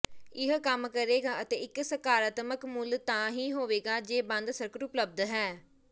ਇਹ ਕੰਮ ਕਰੇਗਾ ਅਤੇ ਇੱਕ ਸਕਾਰਾਤਮਕ ਮੁੱਲ ਤਾਂ ਹੀ ਹੋਵੇਗਾ ਜੇ ਬੰਦ ਸਰਕਟ ਉਪਲਬਧ ਹੈ